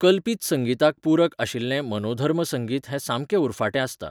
कल्पीत संगिताक पूरक आशिल्लें मनोधर्म संगीत हें सामकें उरफाटें आसता.